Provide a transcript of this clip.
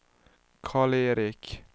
Karl-Erik